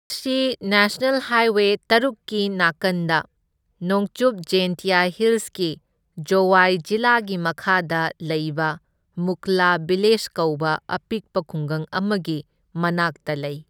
ꯃꯁꯤ national highway ꯇꯔꯨꯛꯀꯤ ꯅꯥꯀꯟꯗ ꯅꯣꯡꯆꯨꯞ ꯖꯦꯟꯇꯤꯌꯥ ꯍꯤꯜꯁꯀꯤ ꯖꯣꯋꯥꯏ ꯖꯤꯂꯥꯒꯤ ꯃꯈꯥꯗ ꯂꯩꯕ ꯃꯨꯈꯂꯥ ꯚꯤꯂꯦꯖ ꯀꯧꯕ ꯑꯄꯤꯛꯄ ꯈꯨꯡꯒꯪ ꯑꯃꯒꯤ ꯃꯅꯥꯛꯇ ꯂꯩ꯫